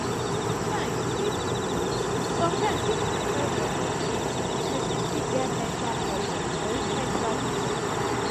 sometimes if di sometimes if di pressure don too much person fit get mental problem or even enter depression